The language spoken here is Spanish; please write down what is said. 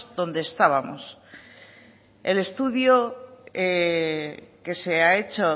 donde estábamos el estudio que se ha hecho